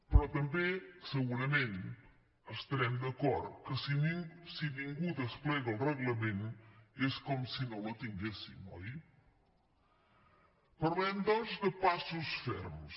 però també segurament estarem d’acord que si ningú desplega el reglament és com si no la tinguéssim oi parlem doncs de passos ferms